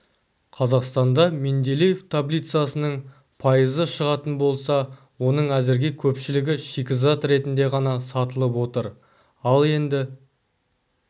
қазақстанда менделеев таблицасының пайызы шығатын болса оның әзірге көпшілігі шикізат ретінде ғана сатылып отыр ал енді